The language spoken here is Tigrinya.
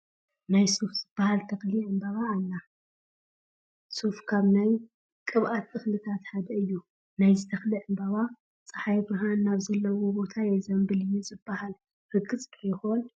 ናይ ሱፍ ዝበሃል ተኽሊ ዕምበባ ኣላ፡፡ ሱፍ ካብ ናይ ቅብኣት እኽልታት ሓደ እዩ፡፡ ናይዚ ተኽሊ ዕምበባ ፀሓይ ብርሃን ናብ ዘለዎ ቦታ የዝምብል እዩ ዝበሃል ርግፅ ዶ ይኾን?